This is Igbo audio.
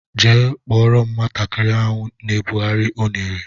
Jee kpọrọ m nwatakịrị ahụ na ebughari unere!!!